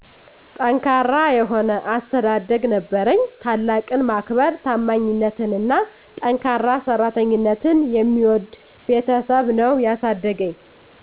ጠንካራ የሆነ አስተዳደግ ነበረኝ። ታላቅን ማክበር; ታማኝነትንና ጠንካራ ሠራተኝነትን የሚወድ ቤተሠብ ነው ያሣደገኝ።